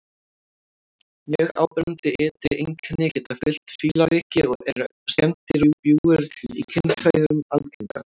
Mjög áberandi ytri einkenni geta fylgt fílaveiki og eru skemmdir og bjúgur í kynfærum algengar.